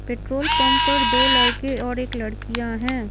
Petrol pump पर दो लड़के और एक लड़कियां हैं।